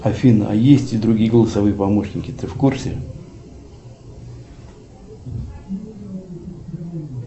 афина а есть и другие голосовые помощники ты в курсе